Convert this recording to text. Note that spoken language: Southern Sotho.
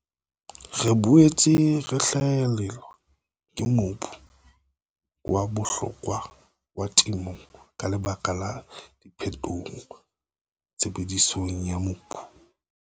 Re boetse re lahlehelwa ke mobu wa bohlokwa wa temo ka lebaka la diphetoho tshebedisong ya mobu.